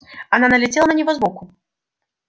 она налетела на него сбоку